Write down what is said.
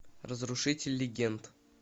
разрушитель легенд